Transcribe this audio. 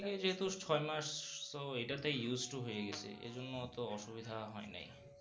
শুরু থেকে যেহুতু ছয় মাস so এটাতে used to হয়ে গেছি এই জন্য অত অসুবিধা হয়ে নেই।